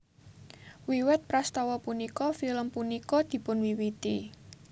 Wiwit prastawa punika film punika dipunwiwiti